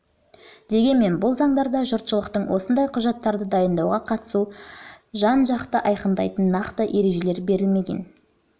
дегенмен бұл заңдарда жұртшылықтың осындай құжаттарды дайындауға қатысу процедураларын жан-жақты айқындайтындай нақты ережелер берілмеген